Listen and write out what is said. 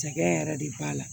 Cɛkɛ yɛrɛ de b'a la